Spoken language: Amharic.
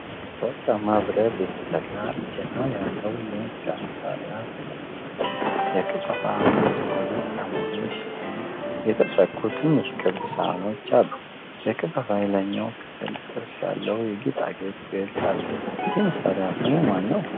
ከወርቃማ ብረት የተሰራ፣ እጀታ ያለው የሙዚቃ መሣሪያ ተቀምጧል። የክፈፉ ውስጥ በሁለት አሞሌዎች ላይ የተሰኩ ትንንሽ ክብ ሳህኖች አሉ። የክፈፉ የላይኛው ክፍል ጥርስ ያለው የጌጣጌጥ ቅርጽ አለው። ይህ መሣሪያ ስሙ ማን ነው?